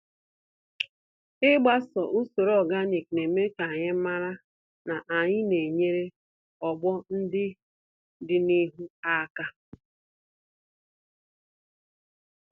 Ịgbaso usoro ọganik, neme kanyi màrà, na anyị na enyere ọgbọ ndị dị n'ihu àkà